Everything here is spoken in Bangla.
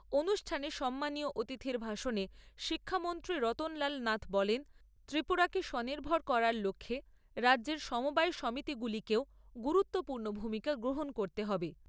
অনুষ্ঠানে সম্মানীয় অতিথির ভাষণে শিক্ষামন্ত্রী রতনলাল নাথ বলেন, ত্রিপুরাকে স্বনির্ভর করার লক্ষ্যে রাজ্যের সমবায় সমিতিগুলিকেও গুরুত্বপূর্ণ ভূমিকা গ্রহণ করতে হবে।